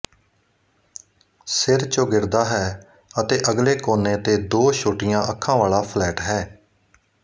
ਸਿਰ ਚੌਗਿਰਦਾ ਹੈ ਅਤੇ ਅਗਲੇ ਕੋਨੇ ਤੇ ਦੋ ਛੋਟੀਆਂ ਅੱਖਾਂ ਵਾਲਾ ਫਲੈਟ ਹੈ